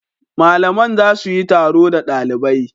Malaman za su yi taro da dalibai.